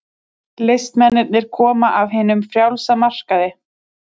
Listamennirnir koma af hinum frjálsa markaði.